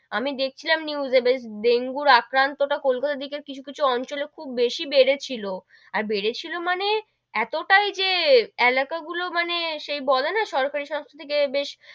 আমি দেখছিলাম news এ বেশ ডেঙ্গুর আক্রান্ত তা কলকাতার দিকে কিছু কিছু অঞ্চলে খুব বেশি বেড়েছিল, আর বেড়েছিল মানে, এতটাই যে এলাকা গুলো মানে সেই বলে না সরকরি সংস্থা থেকে বেশ,